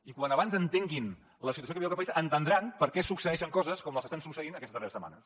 i quan abans entenguin la situació que viu aquest país entendran per què succeeixen coses com les que estan succeint aquestes darreres setmanes